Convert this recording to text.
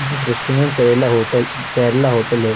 जिस दृश्य में करेला होटल केरला होटल है।